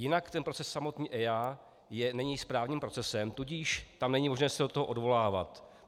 Jinak ten proces samotný EIA není správním procesem, tudíž tam není možné se do toho odvolávat.